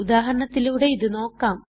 ഉദാഹരണത്തിലൂടെ ഇത് നോക്കാം